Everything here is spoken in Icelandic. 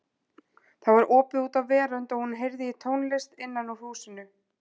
Það var opið út á verönd og hún heyrði tónlist innan úr húsinu.